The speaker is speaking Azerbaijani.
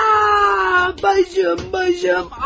Ay başım, başım!